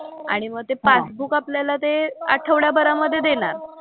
आणि मग ते पासबुक आपल्याला ते आठवड्याभरामधे देणार.